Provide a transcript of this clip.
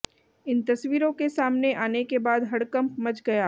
इन तस्वीरों के सामने आने के बाद हडकंप मच गया